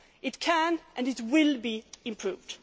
It can and it will be improved.